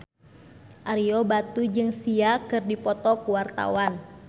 Ario Batu jeung Sia keur dipoto ku wartawan